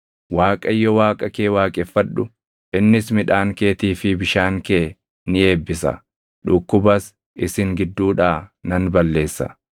Waaqayyo Waaqa kee waaqeffadhu; innis midhaan keetii fi bishaan kee ni eebbisa. Dhukkubas isin gidduudhaa nan balleessa;